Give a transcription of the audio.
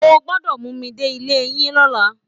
O gbọ́dọ̀ mú mi dé ilé yín lọ́la